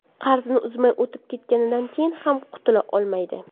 Qarzini uzmay o‘tib ketganidan keyin ham qutula olmaydi.